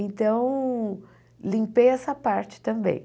Então, limpei essa parte também.